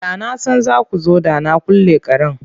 Da na san za ku zo da na kulle karen.